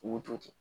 K'u to ten